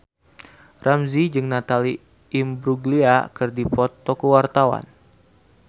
Ramzy jeung Natalie Imbruglia keur dipoto ku wartawan